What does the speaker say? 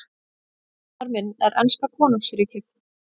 Eiginmaður minn er enska konungsríkið.